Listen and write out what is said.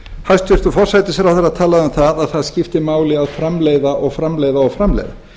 hæstvirtur forsætisráðherra talaði um að það skipti máli að framleiða og framleiða og framleiða